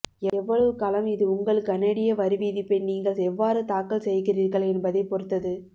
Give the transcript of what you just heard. எவ்வளவு காலம் இது உங்கள் கனேடிய வரிவிதிப்பை நீங்கள் எவ்வாறு தாக்கல் செய்கிறீர்கள் என்பதைப் பொறுத்தது